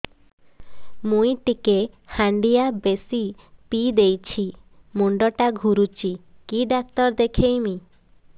ମୁଇ ଟିକେ ହାଣ୍ଡିଆ ବେଶି ପିଇ ଦେଇଛି ମୁଣ୍ଡ ଟା ଘୁରୁଚି କି ଡାକ୍ତର ଦେଖେଇମି